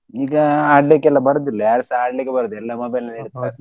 ಈಗ ಆಡ್ಲಿಕ್ಕೆಲ್ಲ ಬರುದಿಲ್ಲ ಯಾರು ಸ ಆಡ್ಲಿಕ್ಕೆ ಬರುದಿಲ್ಲ ಎಲ್ಲಾ mobile ಅಲ್ಲೇ ಇರ್ತಾರೆ.